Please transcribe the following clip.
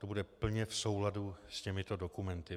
To bude plně v souladu s těmito dokumenty.